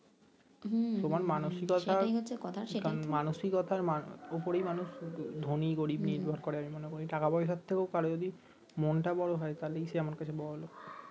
মানসিকতার উপরেই মানুষ ধনী গরিব নির্ভর করে আমি মনেকরি টাকা পয়সার চেয়ে করও যদি মনটা সে আমার কাছে বড় লোক